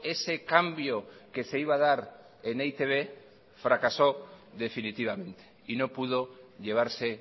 ese cambio que se iba a dar en e i te be fracasó definitivamente y no pudo llevarse